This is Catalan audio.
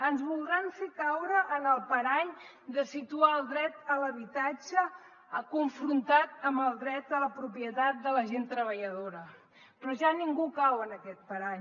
ens voldran fer caure en el parany de situar el dret a l’habitatge confrontat amb el dret a la propietat de la gent treballadora però ja ningú cau en aquest parany